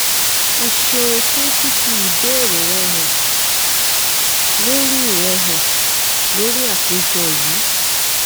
o ṣeun fun fifi ibeere rẹ han lori rẹ han lori apejọ yii